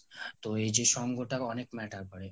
তো এই সঙ্গটা অনেক matter করে